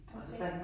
Okay